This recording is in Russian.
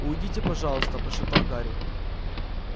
уйдите пожалуйста прошептал гарри